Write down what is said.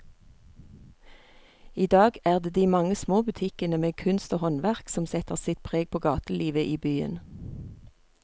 I dag er det de mange små butikkene med kunst og håndverk som setter sitt preg på gatelivet i byen.